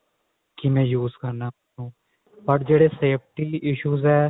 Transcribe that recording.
ਕਿਵੇਂ use ਕਰਨਾ ਉਹਨੂੰ but ਜਿਹੜੇ safety issues ਆ